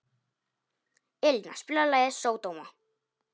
Elíná, spilaðu lagið „Sódóma“.